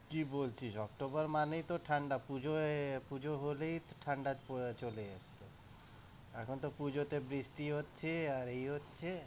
কি বলছিস অক্টোবর মানেই তো ঠাণ্ডা, পূজোয়~পূজো হলেই তো ঠাণ্ডা চলে যায়, এখন তো পূজাতে বৃষ্টি হচ্ছে আর এই হচ্ছে।